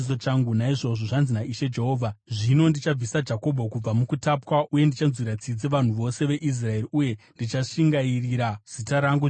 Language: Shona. “Naizvozvo, zvanzi naIshe Jehovha: Zvino ndichabvisa Jakobho kubva mukutapwa uye ndichanzwira tsitsi vanhu vose veIsraeri, uye ndichashingairira zita rangu dzvene.